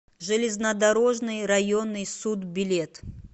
железнодорожный районный суд билет